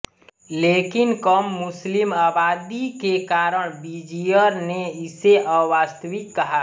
लेकिन कम मुस्लिम आबादी के कारण विजीयर ने इसे अवास्तविक कहा